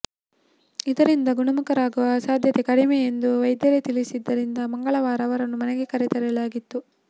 ಇದರಿಂದ ಗುಣಮುಖರಾಗುವ ಸಾಧ್ಯತೆ ಕಡಿಮೆ ಎಂದು ವೈದ್ಯರೇ ತಿಳಿಸಿದ್ದರಿಂದ ಮಂಗಳವಾರ ಅವರನ್ನು ಮನೆಗೆ ಕರೆತರಲಾಗಿತ್ತು